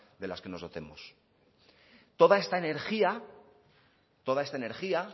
de las que nos dotemos toda esta energía toda esta energía